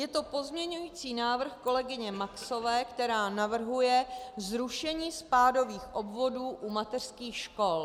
Je to pozměňovací návrh kolegyně Maxové, která navrhuje zrušení spádových obvodů u mateřských škol.